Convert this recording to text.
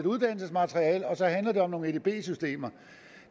uddannelsesmateriale og så handler det om nogle edb systemer